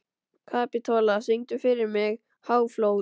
Kapitola, syngdu fyrir mig „Háflóð“.